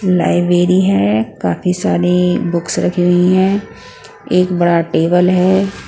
Library है काफी सारी बुक्स रखी हुई हैं एक बड़ा टेबल है।